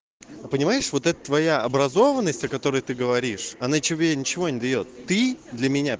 а понимаешь вот это твоя образованность о который ты говоришь она тебе ничего не даёт ты для меня